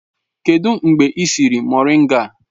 Kedụ mgbe ị siri moringa?